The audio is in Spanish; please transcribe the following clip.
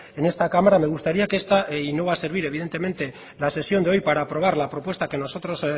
en esta cámara me gustaría que esta y no va a servir evidentemente la sesión de hoy para aprobar la propuesta que nosotros